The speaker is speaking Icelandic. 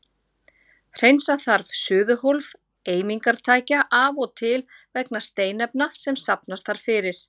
Hreinsa þarf suðuhólf eimingartækja af og til vegna steinefna sem safnast þar fyrir.